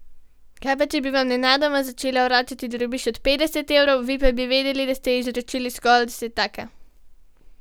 Kaj pa, če bi vam nenadoma začela vračati drobiž od petdeset evrov, vi pa bi vedeli, da ste ji izročili zgolj desetaka?